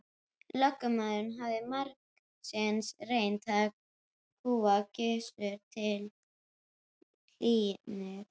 Lögmaðurinn hafði margsinnis reynt að kúga Gizur til hlýðni.